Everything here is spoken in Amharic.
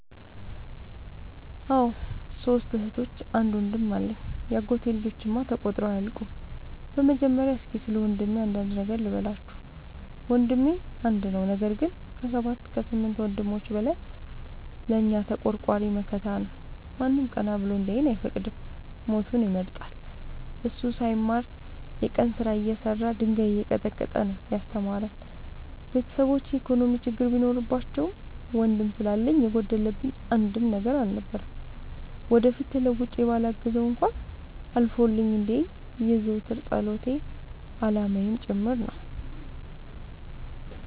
አዎ ሶስት እህቶች አንድ ወንድም አለኝ የአጎቴ ልጆች እማ ተቆጥረው አያልቁም። በመጀመሪያ እስኪ ስለወንድሜ አንዳንድ ነገር ልበላችሁ። ወንድሜ አንድ ነው ነገር ግን አሰባት ከስምንት ወንድሞች በላይ ለእኛ ተቆርቋሪ መከታ ነው። ማንም ቀና ብሎ እንዲያየን አይፈቅድም ሞቱን ይመርጣል። እሱ ሳይማር የቀን ስራ እየሰራ ድንጋይ እየቀጠቀጠ ነው። ያስተማረን ቤተሰቦቼ የኢኮኖሚ ችግር ቢኖርባቸውም ወንድም ስላለኝ የጎደለብኝ አንድም ነገር አልነበረም። ወደፊት ተለውጬ በላግዘው እንኳን አልፎልኝ እንዲየኝ የዘወትር ፀሎቴ አላማዬም ጭምር ነው።